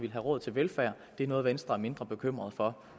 er råd til velfærd det er noget venstre er mindre bekymrede for